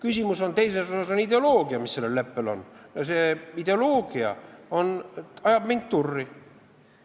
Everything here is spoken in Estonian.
Teine küsimus on ideoloogia, mis sellel leppel on, ja see ideoloogia ajab mind turri.